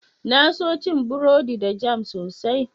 Na so cin burodi da jam sosai.